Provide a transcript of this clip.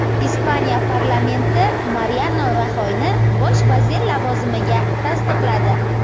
Ispaniya parlamenti Mariano Raxoyni bosh vazir lavozimiga tasdiqladi.